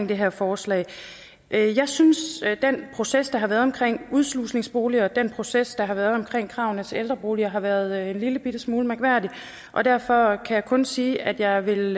det her forslag jeg synes den proces der har været omkring udslusningsboliger og den proces der har været omkring kravene til ældreboliger har været en lillebitte smule mærkværdige og derfor kan jeg kun sige at jeg vil